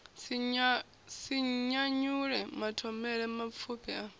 si nyanyule mathomele mapfufhi a